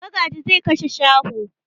Magaji zai kashe shaho.